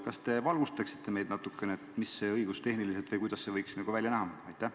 Kas te valgustate meid natukene, mis see õigustehniliselt on või kuidas see võiks välja näha?